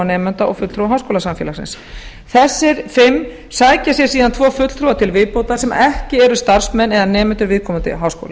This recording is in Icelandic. nemenda og fulltrúa háskólasamfélagsins þessir fimm sækja sér síðan tvo fulltrúa til viðbótar sem ekki eru starfsmenn eða nemendur viðkomandi háskóla